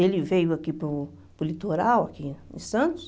Ele veio aqui para o para o litoral, aqui em Santos.